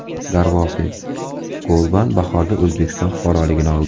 Darvoqe, Golban bahorda O‘zbekiston fuqaroligini oldi.